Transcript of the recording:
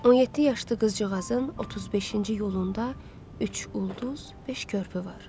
17 yaşlı qızcığazın 35-ci yolunda üç ulduz, beş körpü var.